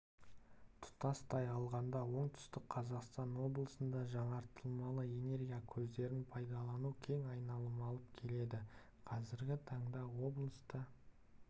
тұтастай алғанда оңтүстік қазақстан облысында жаңартылмалы энергия көздерін пайдалану кең айналым алып келеді қазіргі таңда облыста